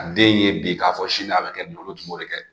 Ka den ye bi k'a fɔ sini a bɛ kɛ tun b'o de kɛ